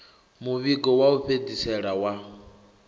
muvhigo wa u fhedzisela wa